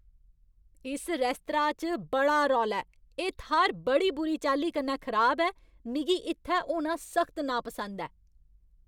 इस रेस्तरा च बड़ा रौला ऐ, एह् थाह्‌र बड़ी बुरी चाल्ली कन्नै खराब ऐ, मिगी इत्थै होना सख्त नापसंद ऐ।